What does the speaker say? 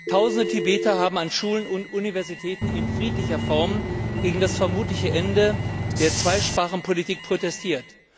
Tausende Tibeter haben an Schulen und Universitäten in friedlicher Form gegen das vermutliche Ende der Zweisprachenpolitik protestiert.